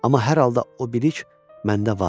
Amma hər halda o bilik məndə var.